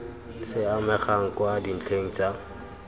se amegang kwa dintlheng tsa